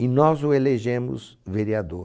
E nós o elegemos vereador.